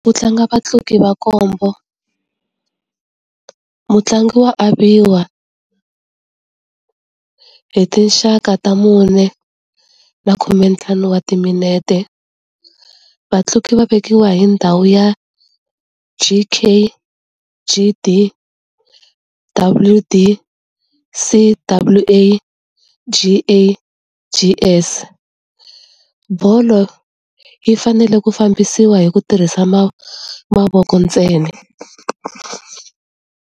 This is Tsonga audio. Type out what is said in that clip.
Ku tlanga vatlangi va nkhombo. Mutlangi wa aviwa hi tinxaka ta mune na khumentlhanu wa timinete. Vatlangi va vekiwa hi ndhawu ya G_K, G_D, W_D, C_W_A, G_A, G_S. Bolo yi fanele ku fambisiwa hi ku tirhisa mavoko ntsena.